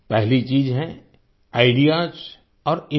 पहली चीज है आईडीईएएस और Innovation